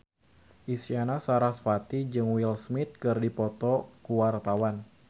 Isyana Sarasvati jeung Will Smith keur dipoto ku wartawan